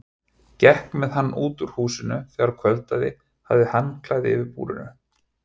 Gekk með hann út úr húsinu þegar kvöldaði, hafði handklæði yfir búrinu.